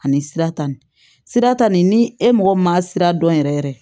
Ani sira ta nin sira ta nin ni e mɔgɔ min ma sira dɔn yɛrɛ yɛrɛ